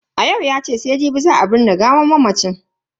Ayo yace sai jibi za a binne gawan mamacin.